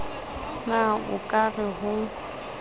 na o ka re ho